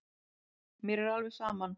Mér var alveg saman.